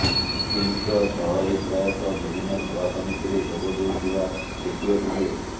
କିମ୍ଙ୍କ ସହ ରୀ ପ୍ରାୟତଃ ବିଭିନ୍ନ ସଭା ସମିତିରେ ଯୋଗ ଦେଉଥିବା ଦେଖିବାକୁ ମିଳେ